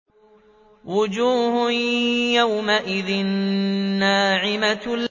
وُجُوهٌ يَوْمَئِذٍ نَّاعِمَةٌ